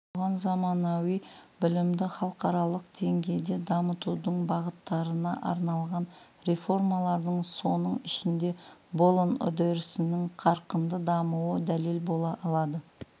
бұған заманауи білімді халықаралық деңгейде дамытудың бағыттарына арналған реформалардың соның ішінде болон үрдісінің қарқынды дамуы дәлел бола алады